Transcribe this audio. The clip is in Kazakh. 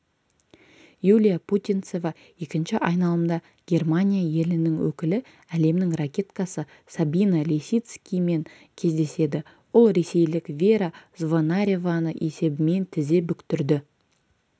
юлия путинцева екінші айналымда германия елінің өкілі әлемнің ракеткасы сабина лисицкимен кездеседі ол ресейлік вера звонареваны есебімен тізе бүктірді